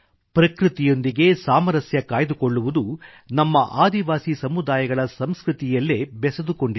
ಪ್ರಕೃತಿಯೊಂದಿಗೆ ಸಾಮರಸ್ಯ ಕಾಯ್ದುಕೊಳ್ಳುವುದು ನಮ್ಮ ಆದಿವಾಸಿ ಸಮುದಾಯಗಳ ಸಂಸ್ಕೃತಿಯಲ್ಲೇ ಬೆಸೆದುಕೊಂಡಿದೆ